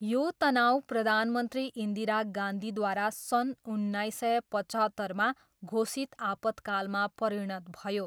यो तनाउ प्रधानमन्त्री इन्दिरा गान्धीद्वारा सन् उन्नाइस सय पचहत्तरमा घोषित आपतकालमा परिणत भयो।